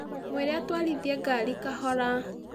Mwĩre atwarithie ngaari kahora